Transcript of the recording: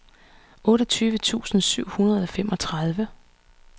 otteogtyve tusind syv hundrede og femogtredive